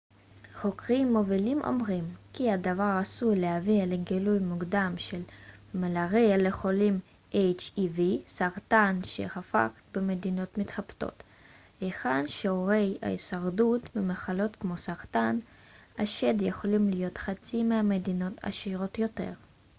חוקרים מובילים אומרים כי הדבר עשוי להביא לגילוי מוקדם של סרטן שחפת hiv ומלריה לחולים במדינות מתפתחות היכן ששיעורי ההישרדות ממחלות כמו סרטן השד יכולים להיות חצי מבמדינות עשירות יותר